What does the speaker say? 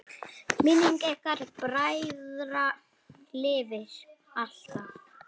Minning ykkar bræðra lifir alltaf!